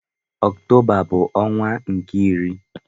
Okụtoba bụ ọnwa nke iri.